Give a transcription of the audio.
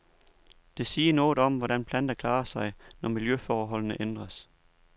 Det siger noget om, hvordan planter klarer sig, når miljøforholdene ændres.